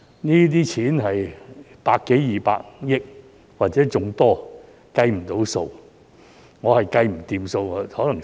這些錢是百多二百億元或是更多，是無法計算的。